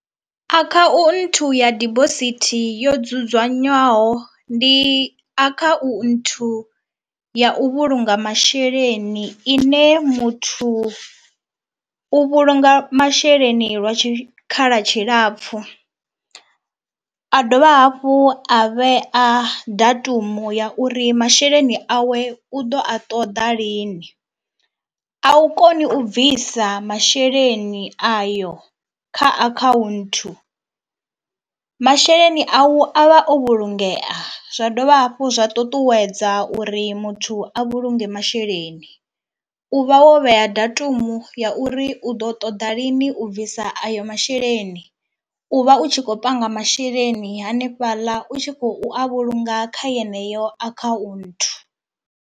Akhaunthu ya dibosithi yo dzudzanywaho ndi akhaunthu ya u vhulunga masheleni ine muthu u vhulunga masheleni lwa tshikhala tshilapfu, a dovha hafhu a vhea datumu ya uri masheleni awe u ḓo a ṱoḓa lini. A u koni u bvisa masheleni ayo kha akhaunthu. Masheleni au avha o vhulungeya zwa dovha hafhu zwa ṱuṱuwedza uri muthu a vhulunge masheleni, u vha wo vhea datumu ya uri u ḓo ṱoḓa lini u bvisa ayo masheleni. U vha u tshi khou panga masheleni hanefhaḽa u tshi khou a vhulunga kha yeneyo akhaunthu.